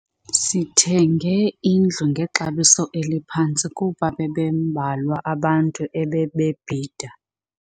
Sithenge indlu ngexabiso eliphantsi kuba bebembalwa abantu ebebebhida.